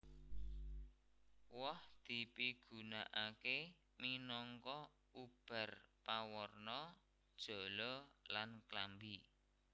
Woh dipigunakaké minangka ubar pawarna jala lan klambi